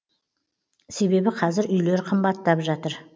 себебі қазір үйлер қымбаттап жатыр